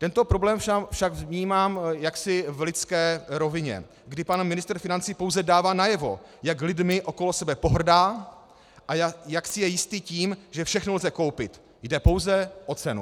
Tento problém však vnímám jaksi v lidské rovině, kdy pan ministr financí pouze dává najevo, jak lidmi okolo sebe pohrdá a jak si je jistý tím, že všechno lze koupit, jde pouze o cenu.